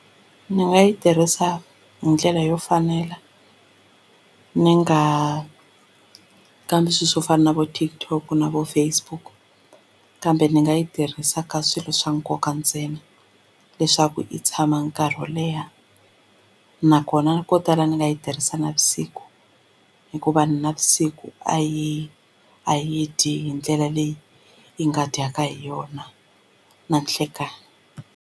Ni nga yi tirhisa hi ndlela yo fanela ni nga kambi swilo swo fana na vo TikTok na vo Facebook kambe ni nga yi tirhisa ka swilo swa nkoka ntsena leswaku yi tshama nkarhi wo leha nakona ko tala ni nga yi tirhisa navusiku hikuva navusiku a yi a yi dyi hi ndlela leyi yi nga dyaka hi yona na nhlekani.